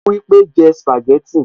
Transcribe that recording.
Ó wípé, jẹ́ sìpàgẹ́tì